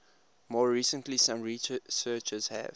more recently some researchers have